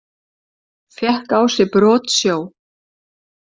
Fékk á sig brotsjó